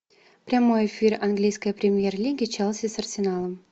прямой эфир английской премьер лиги челси с арсеналом